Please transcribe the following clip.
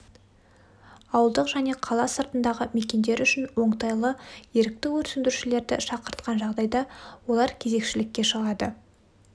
ауылдық және қала сыртындағы мекендер үшін оңтайлы ерікті өрт сөндірушілерді шақыртқан жағдайда олар кезекшілікке шығады